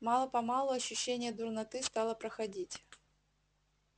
мало-помалу ощущение дурноты стало проходить